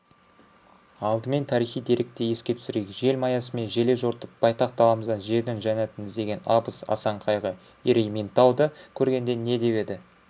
алдымен тарихи деректі еске түсірейік желмаясымен желе жортып байтақ даламыздан жердің жәннатын іздеген абыз асан қайғы ерейментауды көргенде не деп еді